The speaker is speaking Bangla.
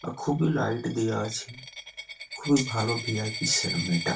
খুবই লাইট দিয়া আছে খুবই ভালো ভি .আই .পি. সেলুন এটা।